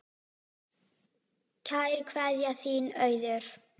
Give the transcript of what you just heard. Kær kveðja, þín Auður